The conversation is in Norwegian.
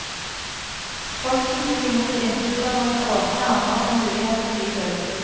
Posten tok i mot innflytterne med åpne armer og mulighet for hybel.